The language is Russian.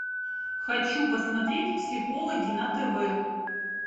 хочу посмотреть психологи на тв